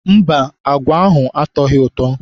Mba, agwa ahụ atọghị ụtọ.